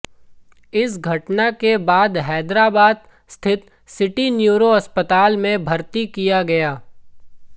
इस घटना के बाद हैदराबाद स्थित सिटी न्यूरो अस्पताल में भर्ती किया गया